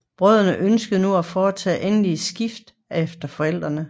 Brødrene ønskede nu at foretage endeligt skifte efter forældrene